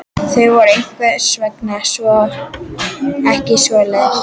Þau voru einhvern veginn ekki svoleiðis.